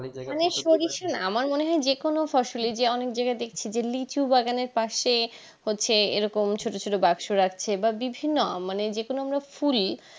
মনে হয় যে কোনো ফসলি যে অনিক জায়গায় দেখছি যে লিচু বাগানের পাশে হচ্ছে এই রকম ছোটো ছোটো বাস্ক রাখছে বা বিভিন্ন মানে যেখানে আমরা ফুল